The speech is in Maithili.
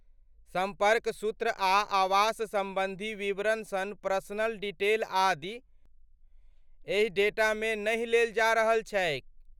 सम्पर्क सूत्र आ आवास सम्बन्धी विवरण सन पर्सनल डिटेल आदि, एहि डेटामे नहि लेल जा रहल छैक।